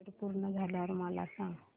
update पूर्ण झाल्यावर मला सांग